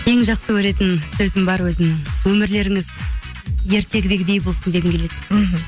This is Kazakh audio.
ең жақсы көретін сөзім бар өзімнің өмірлеріңіз ертегідегідей болсын дегім келеді мхм